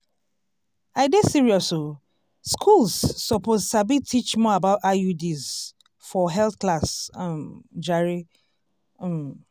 i dey serious oh schools suppose sabi teach more about iuds for health class um jare. um